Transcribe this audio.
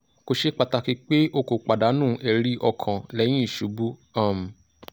ko ṣe pataki pe o ko padanu ẹri-ọkan lẹhin isubu um